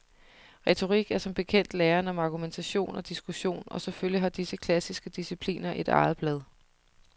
Retorik er som bekendt læren om argumentation og diskussion, og selvfølgelig har disse klassiske discipliner et eget blad.